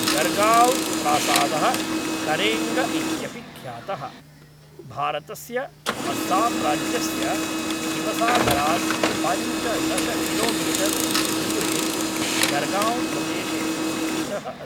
गरगाव्ँ प्रासादः करेङ्ग इत्यपि ख्यातः, भारतस्य अस्साम् राज्यस्य शिवसागरात् पञ्चदश किलोमीटर् दूरे गरगाव्ँ प्रदेशे स्थितः अस्ति।